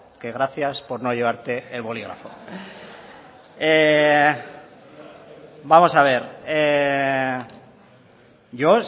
que gracias por no llevarte el bolígrafo vamos a ver yo